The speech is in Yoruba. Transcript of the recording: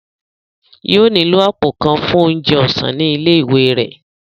Yóò nílò àpò kan fún oúnjẹ ọ̀sán ní ilé ìwé rẹ̀